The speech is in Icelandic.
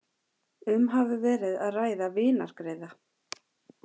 Um hafi verið að ræða vinargreiða